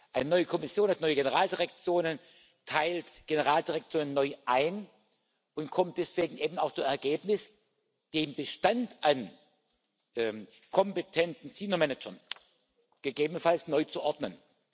Eine neue Kommission hat neue Generaldirektionen, teilt Generaldirektoren neu ein und kommt deswegen eben auch zu dem Ergebnis, den Bestand an kompetenten senior managers gegebenfalls neu zu ordnen.